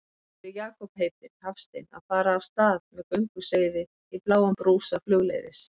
Hér er Jakob heitinn Hafstein að fara af stað með gönguseiði í bláum brúsa flugleiðis.